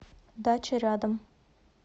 дача рядом